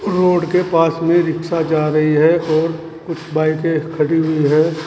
Road के पास में रिक्शा जा रही है और कुछ बाइके खड़ी हुई हैं।